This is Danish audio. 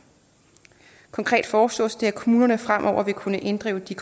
konkret foreslås det at kommunerne fremover vil kunne inddrive de